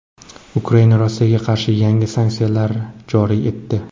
Ukraina Rossiyaga qarshi yangi sanksiyalar joriy etdi.